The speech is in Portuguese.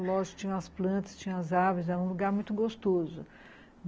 Lógico, tinha as plantas, tinha as árvores, era um lugar muito gostoso.